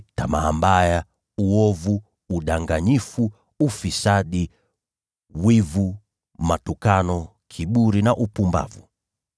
tamaa mbaya, uovu, udanganyifu, ufisadi, wivu, matukano, kiburi na upumbavu.